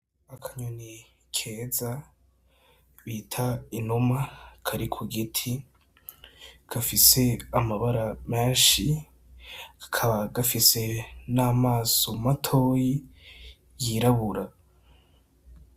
Akanyoni keza bita inuma kari kugiti gafise amabara menshi kakaba gafise n'amaso matoyi yirabura.